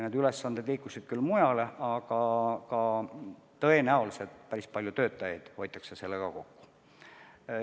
Need ülesanded liikusid mujale ja tõenäoliselt päris palju töökohti hoitakse sellega kokku.